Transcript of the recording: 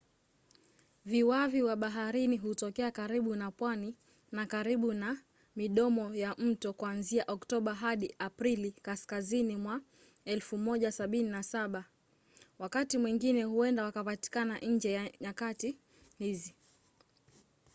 viwavi wa baharini hutokea karibu na pwani na karibu na midomo ya mto kuanzia oktoba hadi aprili kaskazini mwa 1770. wakati mwingine huenda wakapatikana nje ya nyakati hizi